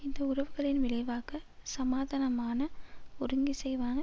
இந்த உறவுகளின் விளைவாக சமாதானமான ஒருங்கிசைவான